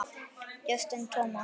Justin Thomas